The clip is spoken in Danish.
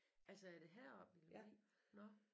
Altså er det heroppe i Lemvig? Nåh